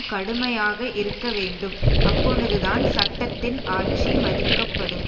கடுமையாக இருக்கவேண்டும் அப்பொழுதுதான் சட்டத்தின் ஆட்சி மதிக்கப்படும்